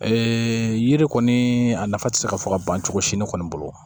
yiri kɔni a nafa ti se ka fɔ ka ban cogo si ne kɔni bolo